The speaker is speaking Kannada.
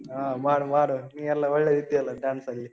ಹ ಮಾಡು ಮಾಡು. ನೀಯೆಲ್ಲಾ ಒಳ್ಳೆ ಇದ್ದಿ ಅಲ್ಲಾ dance ಅಲ್ಲಿ.